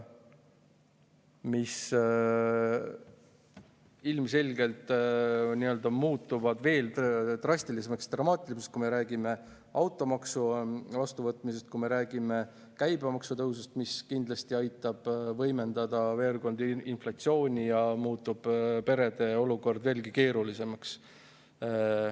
Ilmselgelt muutub kõik veel drastilisemaks ja dramaatilisemaks, kui me räägime automaksu vastuvõtmisest ja kui me räägime käibemaksu tõusust, mis kindlasti aitab veel võimendada inflatsiooni ja muudab perede olukorra veelgi keerulisemaks.